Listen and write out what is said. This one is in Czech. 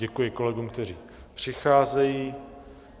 Děkuji kolegům, kteří přicházejí.